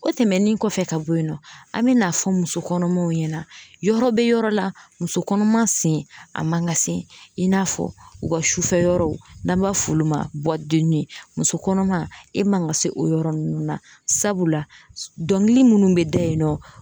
O tɛmɛnin kɔfɛ ka bɔ yen nɔ an me n'a fɔ muso kɔnɔmaw ɲɛna yɔrɔ be yɔrɔ la muso kɔnɔman sen a man ka se yen n'a fɔ u ka sufɛ yɔrɔw n'an b'a f'olu ma bɔdenni muso kɔnɔma e man ka se o yɔrɔ nunnu na sabula dɔnkili munnu be da yen nɔ